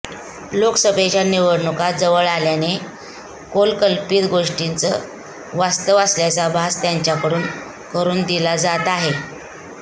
लोकसभेच्या निवडणुका जवळ आल्यामुळे कपोलकल्पीत गोष्टीच वास्तव असल्याचा भास त्यांच्याकडून करून दिला जात आहे